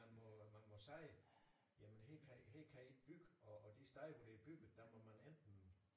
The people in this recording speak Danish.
Man må man må sige jamen her kan i her kan i ikke bygge og og de steder der er bygget der må man enten